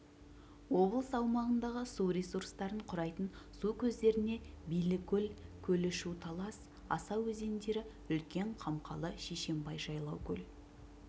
облыс аумағындағысу ресурстарын құрайтын су көздеріне билікөл көлі шу талас аса өзендері үлкен қамқалы шешенбай жайлаукөл